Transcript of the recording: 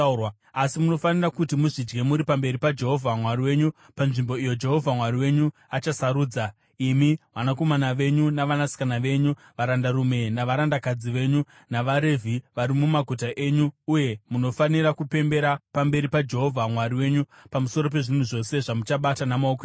Asi, munofanira kuti muzvidye muri pamberi paJehovha Mwari wenyu panzvimbo iyo Jehovha Mwari wenyu achasarudza, imi, vanakomana venyu navanasikana venyu, varandarume navarandakadzi venyu, navaRevhi vari mumaguta enyu uye munofanira kupembera pamberi paJehovha Mwari wenyu pamusoro pezvinhu zvose zvamuchabata namaoko enyu.